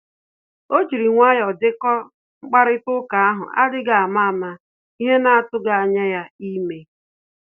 O jiri nwayọ dekọ mkparịta ụka ahụ adịghị ama ama ihe na-atughi anya ya eme.